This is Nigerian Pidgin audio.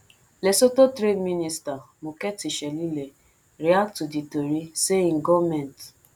lesotho trade minister mokhethi shelile react to di tori say im goment